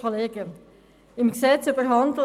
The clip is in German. Grossrätin Stucki, Sie haben das Wort.